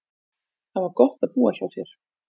Það var gott að búa hjá þér.